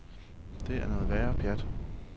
Det er noget værre pjat.